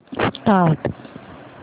start